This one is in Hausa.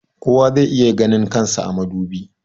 kowa zai iya ganin kan sa a madubi